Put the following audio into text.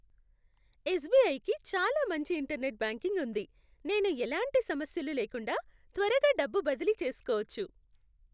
ఎస్బిఐకి చాలా మంచి internet banking ఉంది. నేను ఎలాంటి సమస్యలు లేకుండా త్వరగా డబ్బు బదిలీ చేసుకోవచ్చు.